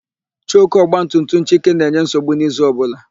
Choku ọgbatumtum Chike na-enye nsogbu n'izu ọbụla.